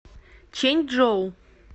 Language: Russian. чэньчжоу